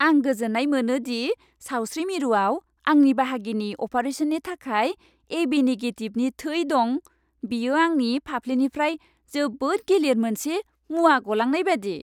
आं गोजोन्नाय मोनो दि सावस्रि मिरुआव आंनि बाहागिनि अपारेशननि थाखाय ए.बि. निगेटिभनि थै दं। बेयो आंनि फाफ्लिनिफ्राय जोबोद गिलिर मोनसे मुवा गलांनाय बायदि।